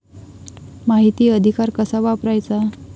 माहिती अधिकार कसा वापरायचा?